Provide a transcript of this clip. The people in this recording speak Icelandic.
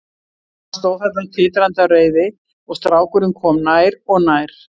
Hann stóð þarna titrandi af reiði og strákurinn kom nær og nær.